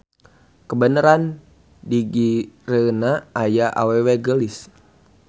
Kabeneran digigireunana aya awewe geulis.